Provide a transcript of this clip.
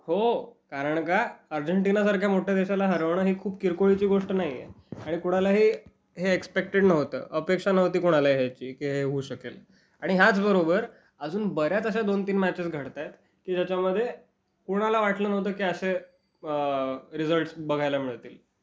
हो. कारण का, अर्जेंटिनासारख्या मोठ्या देशाला हरवणं ही खूप किरकोळीची गोष्ट नाहीये. आणि कुणालाही हे एक्स्पेक्टेड नव्हतं. अपेक्षा नव्हती कुणाला याची की ही होऊ शकेल. आणि ह्याच बरोबर, अजून बऱ्याच अशा दोन-तीन मॅचेस घडतायत, की ज्याच्या मध्ये म्हणजे कुणाला वाटलं नव्हतं, की असे.. अ.. रिजल्टस् बघायला मिळतील.